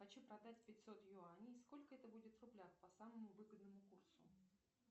хочу продать пятьсот юаней сколько это будет в рублях по самому выгодному курсу